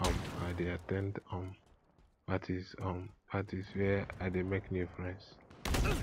um i dey at ten d um parties um parties where i dey make new friends